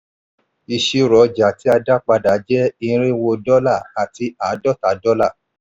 ìṣirò ọjà tí a dá padà jẹ́ irínwó dọ́là àti àádọ́ta dọ́là.